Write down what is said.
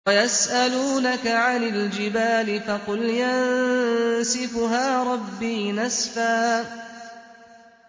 وَيَسْأَلُونَكَ عَنِ الْجِبَالِ فَقُلْ يَنسِفُهَا رَبِّي نَسْفًا